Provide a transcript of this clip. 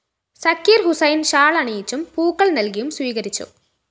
സക്കീര്‍ ഹുസൈന്‍ ഷാൽ അണിയിച്ചും പൂക്കള്‍ നല്‍കിയും സ്വീകരിച്ചു